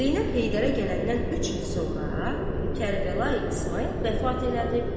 Zeynəb Heydərə gələndən üç il sonra Kərbəlayi İsmayıl vəfat elədi.